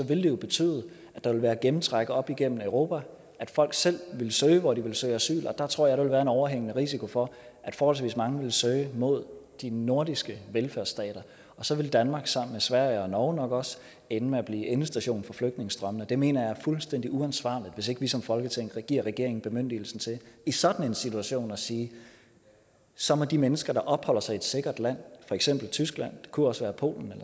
vil det jo betyde at der vil være gennemtræk op igennem europa at folk selv vil søge hen hvor de vil søge asyl og der tror jeg at der vil være en overhængende risiko for at forholdsvis mange vil søge mod de nordiske velfærdsstater og så vil danmark sammen med sverige og norge nok også ende med at blive endestation for flygtningestrømmene jeg mener det er fuldstændig uansvarligt hvis ikke vi som folketing giver regeringen bemyndigelse til i sådan en situation at sige at så må de mennesker der opholder sig i et sikkert land for eksempel tyskland det kunne også være polen